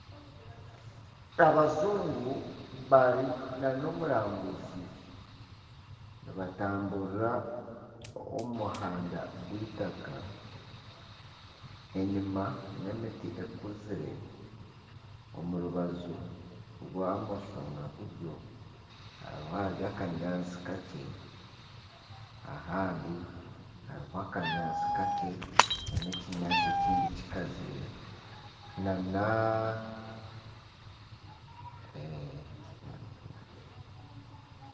Abajungu bari na n'omurambuzi nibatamburira omu muhanda gw'eitaaka enyuma n'emiti ekuzire omu rubaju rwa bumosho na buryo hariho ahari akanyaatsi kakye n'ahandi hariho akanyaatsi kakye na n'ekinyaatsi ekindi kikazire.